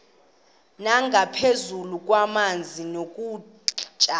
nangaphezu kwamanzi nokutya